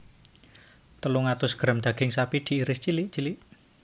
Telung atus gram daging sapi diiris cilik cilik